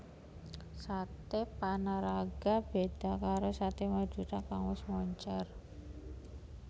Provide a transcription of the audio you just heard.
Saté Panaraga beda karo Saté Madura kang wis moncèr